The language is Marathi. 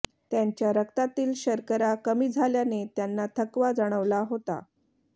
त्यांच्या रक्तातील शर्करा कमी झाल्याने त्यांना थकवा जाणवला होता